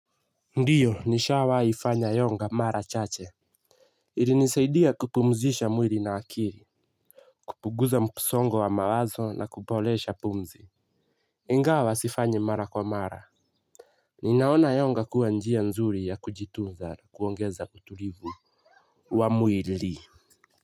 Ndiyo nishawaifanya yoga mara chache ilinisaidia kupumzisha mwili na akili kupuguza msongo wa mawazo na kupolesha pumzi ingawa sifanyi mara kwa mara nina ona yoga kuwa njia nzuri ya kujitunza kuongeza utulivu wa mwili.